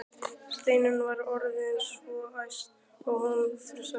Steinunn var orðin svo æst að hún frussaði.